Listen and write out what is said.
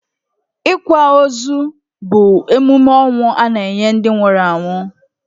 Ịkwa ozu bu emume ọnwụ a na-enye ndi nwụrụ anwụ.